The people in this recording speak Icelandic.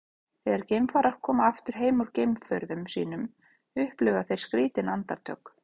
þegar geimfarar koma aftur heim úr geimferðum sínum upplifa þeir skrýtin andartök